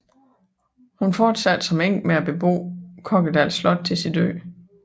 Hun fortsatte som enke med at bebo Kokkedal Slot til sin død